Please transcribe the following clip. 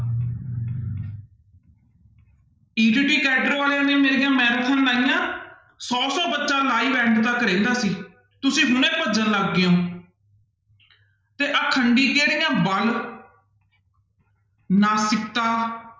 ETT cadre ਵਾਲਿਆਂ ਨੇ ਮੇਰੀਆਂ ਲਾਈਆਂ, ਸੌ ਸੌ ਬੱਚਾ live end ਤੱਕ ਰਹਿੰਦਾ ਸੀ, ਤੁਸੀਂ ਹੁਣੇ ਭੱਜਣ ਲੱਗ ਗਏ ਹੋ ਤੇ ਅਖੰਡੀ ਕਿਹੜੀਆਂ ਬਲ ਨਾਸਿਕਤਾ